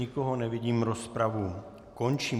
Nikoho nevidím, rozpravu končím.